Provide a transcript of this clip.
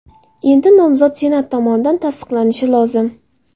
Endi nomzod Senat tomonidan tasdiqlanishi lozim.